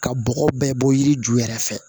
Ka bɔgɔ bɛɛ bɔ yiri ju yɛrɛ fɛ